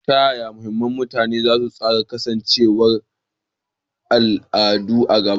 Ta yaya mashahuran kutane za su tsara kasancewar al'ada a gaba?